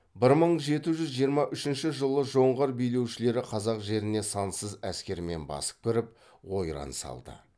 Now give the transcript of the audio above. бір мың жеті жүз жиырма үшінші жылы жоңғар билеушілері қазақ жеріне сансыз әскермен басып кіріп ойран салды